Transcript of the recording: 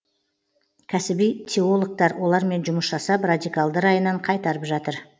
кәсіби теологтар олармен жұмыс жасап радикалды райынан қайтарып жатыр